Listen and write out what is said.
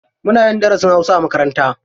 Muna yin darasin hausa a makaranta.